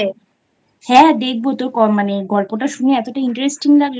হ্যাঁ দেখব তোর মানে গল্পটাশুনে Interesting লাগল